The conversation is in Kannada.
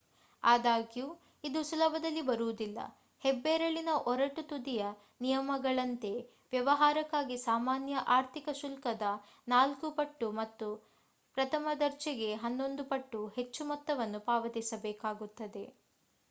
ಆದಾಗ್ಯೂ ಇದು ಸುಲಭದಲ್ಲಿ ಬರುವುದಿಲ್ಲ ಹೆಬ್ಬೆರಳಿನ ಒರಟು ತುದಿಯ ನಿಯಮಗಳಂತೆ ವ್ಯವಹಾರಕ್ಕಾಗಿ ಸಾಮಾನ್ಯ ಆರ್ಥಿಕ ಶುಲ್ಕದ ನಾಲ್ಕು ಪಟ್ಟು ಮತ್ತು ಪ್ರಥಮ ದರ್ಜೆಗೆ ಹನ್ನೊಂದು ಪಟ್ಟು ಹೆಚ್ಚು ಮೊತ್ತವನ್ನು ಪಾವತಿಸಬೇಕಾಗುತ್ತದೆ